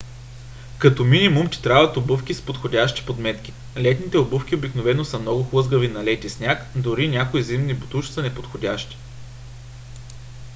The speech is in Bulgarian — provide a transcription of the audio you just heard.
като минимум ти трябват обувки с подходящи подметки. летните обувки обикновено са много хлъзгави на лед и сняг дори някои зимни ботуши са неподходящи